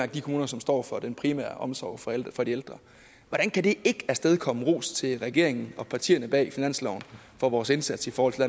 de kommuner som står for den primære omsorg for for de ældre hvordan kan det ikke afstedkomme ros til regeringen og partierne bag finansloven for vores indsats i forhold til